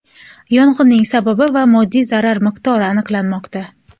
Yong‘inning sababi va moddiy zarar miqdori aniqlanmoqda.